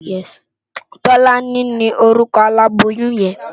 Tolani ni órúkò àlábóyùn yèn